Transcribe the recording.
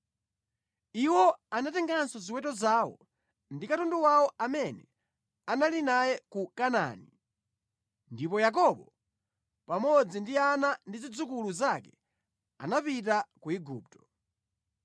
Iwo anatenganso ziweto zawo ndi katundu wawo amene anali naye ku Kanaani, ndipo Yakobo pamodzi ndi ana ndi zidzukulu zake anapita ku Igupto.